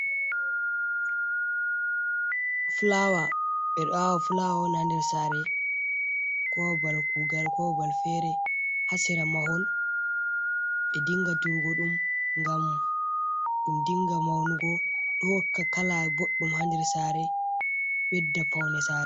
Fulaawa ɓeɗo awa fulawa on ha nder saare ko babal kugal kobabal fere ha sera mahol ɓe dinga diwugo ɗum ngam ɗum dinga maunugo ɗo hokka kala boɗɗum ha nder sare ɓedda dda paunde sare.